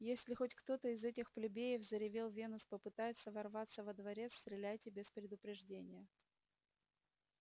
если хоть кто-то из этих плебеев заревел венус попытается ворваться во дворец стреляйте без предупреждения